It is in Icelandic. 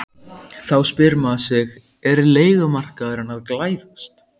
Þá spyr maður sig er leigumarkaðurinn að glæðast?